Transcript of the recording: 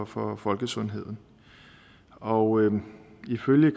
for folkesundheden og ifølge